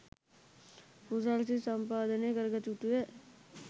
කුසල් සිත් සම්පාදනය කරගත යුතුය